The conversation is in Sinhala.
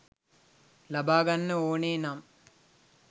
ලබා ගන්න ඕනෙනම්